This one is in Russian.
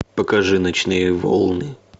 покажи ночные волны